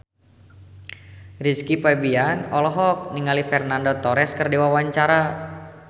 Rizky Febian olohok ningali Fernando Torres keur diwawancara